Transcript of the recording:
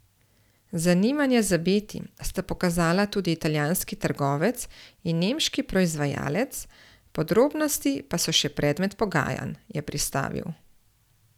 Zanimanje za Beti sta pokazala tudi italijanski trgovec in nemški proizvajalec, podrobnosti pa so še predmet pogajanj, je pristavil.